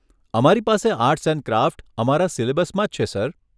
અમારી પાસે arts and craft અમારા સિલેબસમાં જ છે સર.